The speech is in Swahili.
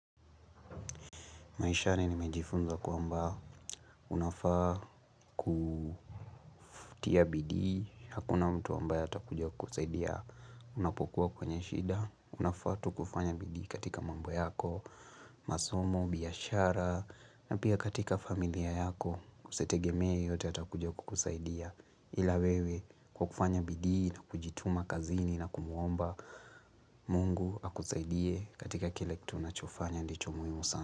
Maishani nimejifunza kwamba unafaa kutia bidii, hakuna mtu ambaye atakuja kukusaidia. Unapokuwa kwenye shida, unafaa tu kufanya bidi katika mambo yako, masomo, biashara, na pia katika familia yako. Usitegemee yeyote ya takujo kukusaidia. Ila wewe kukufanya bidi na kujituma kazini na kumuomba mungu akusaidie katika kile kitu na chofanya ndicho muimu sana.